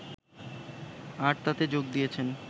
আর তাতে যোগ দিয়েছেন